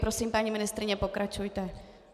Prosím, paní ministryně, pokračujte.